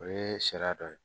O ye sariya dɔ ye